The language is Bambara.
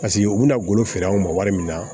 Paseke u bɛna golo feere an ma wari min na